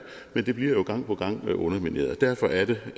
men det bliver jo gang på gang undermineret derfor er det